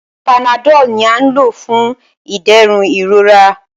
Panadọ́ọ̀lù ni à ń lò fún ìdẹ̀rùn ìrora.